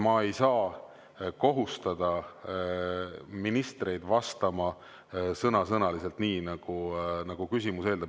Ma ei saa kohustada ministreid vastama sõna‑sõnalt nii, nagu küsimus eeldab.